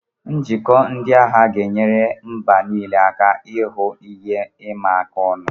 Njikọ ndị agha ga-enyere mba niile aka ihu ihe ịma aka ọnụ.